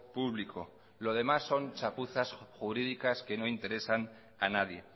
público lo demás son chapuzas jurídicas que no interesan a nadie